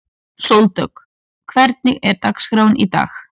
Sóldögg, hvernig er dagskráin í dag?